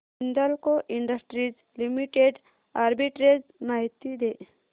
Hindalco industries limited arbitrage माहिती दे